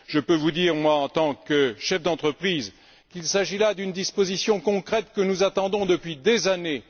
Je puis vous dire, moi, en tant que chef d'entreprise, qu'il s'agit là d'une disposition concrète que nous attendons depuis des années.